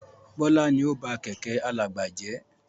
Bọlá ni ó ba Kẹ̀kẹ́ alàgbà jẹ́